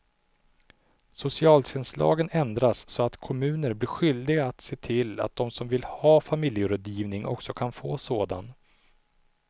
Socialtjänstlagen ändras så att kommuner blir skyldiga att se till att de som vill ha familjerådgivning också kan få sådan.